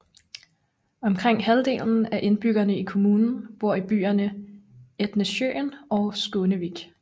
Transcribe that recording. Omkring halvdelen af indbyggerne i kommunen bor i byerne Etnesjøen og Skånevik